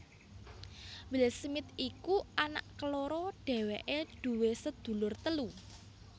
Will Smith iku anak keloro dhéwéké duwé sedulur telu